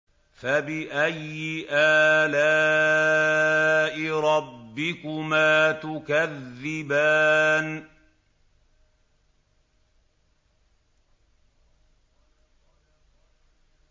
فَبِأَيِّ آلَاءِ رَبِّكُمَا تُكَذِّبَانِ